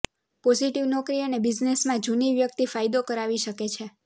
positive નોકરી અને બિઝનેસમાં જૂની વ્યક્તિ ફાયદો કરાવી શકે છે